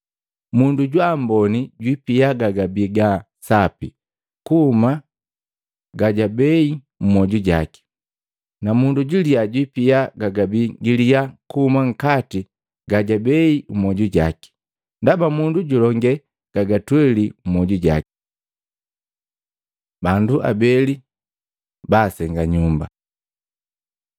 Mundu jwa amboni jupia gagabi ga sapi kuhuma gajagabei mmwoju jaki, na mundu juliya jupia gagabi giliya kuhuma nkati gajabei mmwoju jake. Ndaba mundu julonge gagatweli mmwoju jake.” Bandu abeli baasenga nyumba Matei 7:24-27